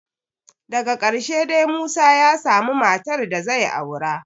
Daka ƙarshe dai Musa ya samu matar da zai aura